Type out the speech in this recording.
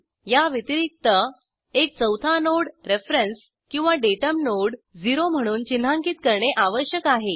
या व्यतिरिक्त एक चौथा नोड रेफरेन्स किंवा डाटम नोड 0 म्हणून चिन्हांकित करणे आवश्यक आहे